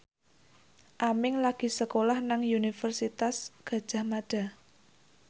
Aming lagi sekolah nang Universitas Gadjah Mada